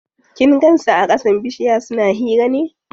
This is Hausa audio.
Kin gan su a ƙasan bishiya suna hira ne?